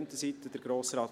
Einerseits – Grossrat